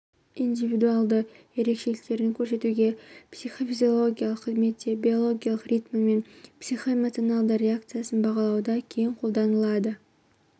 индивидуалды ерекшеліктерін көрсетуде психофизиологиялық қызметте биологиялық ритмі мен психоэмоционалды реакциясын бағалауда кең қолданылады